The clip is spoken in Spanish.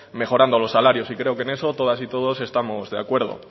mejorando los salarios y creo que en eso todas y todos estamos de acuerdo